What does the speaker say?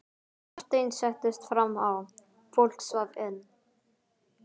Marteinn settist fram á, fólk svaf enn.